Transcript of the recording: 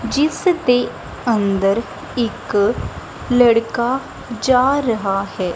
ਜਿਸ ਦੇ ਅੰਦਰ ਇੱਕ ਲੜਕਾ ਜਾ ਰਹਾ ਹੈ।